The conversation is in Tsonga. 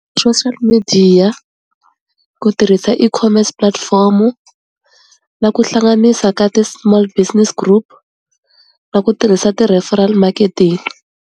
Social midiya, ku tirhisa ecommerce platform-u, na ku hlanganisa ka ti-small business group, na ku tirhisa ti-referral marketing.